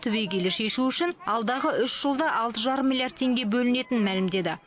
түбегейлі шешу үшін алдағы үш жылда алты жарым миллиард теңге бөлінетінін мәлімдеді